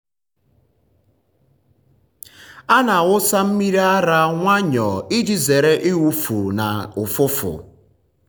a na-awụsa mmiri ara nwayọọ um iji um zere ịwụfu na ụfụfụ.